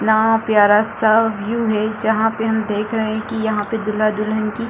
कितना प्यारा सा व्यू है जहां पे हम देख रहे है कि यहां पे दूल्हा-दुलहन की --